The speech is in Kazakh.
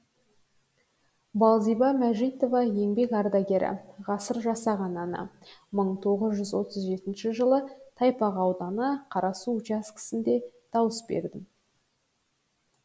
балзиба мәжитова еңбек ардагері ғасыр жасаған ана мың тоғыз жүз отыз жетінші жылы тайпақ ауданы қарасу учаскесінде дауыс бердім